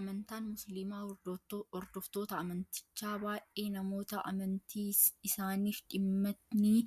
Amantaan musliimaa hordoftoota amantichaa baay'ee namoota amantii isaaniif dhimmanii